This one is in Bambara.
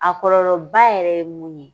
A kɔlɔlɔba yɛrɛ ye mun ye